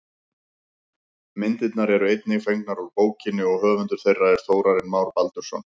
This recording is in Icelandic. Myndirnar eru einnig fengnar úr bókinni og höfundur þeirra er Þórarinn Már Baldursson.